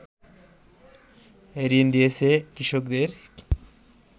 ঋণ দিয়েছে কৃষকদের